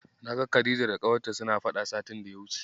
Na ga Khadija da ƙawarta suna faɗa satin daya wuce.